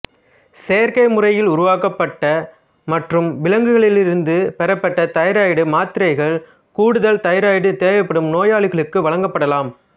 செயற்கை முறையில் உருவாக்கப்பட்ட மற்றும் விலங்குகளிலிருந்து பெறப்பட்ட தைராய்டு மாத்திரைகள் கூடுதல் தைராய்டு தேவைப்படும் நோயாளிகளுக்கு வழங்கப்படலாம்